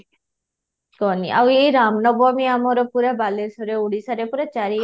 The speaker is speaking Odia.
କୁହନି ଆଉ ଏଇ ରାମ ନବମୀ ଆମର ପୁରା ବାଲେଶ୍ୱରରେ ଓଡ଼ିଶାରେ ପୁରା ଚାରିଆଡେ